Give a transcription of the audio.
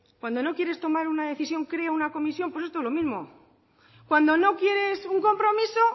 cuando no quieres tomar una decisión crea una comisión pues esto es lo mismo cuando no quieres un compromiso